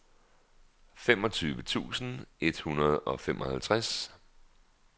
femogtyve tusind et hundrede og femoghalvtreds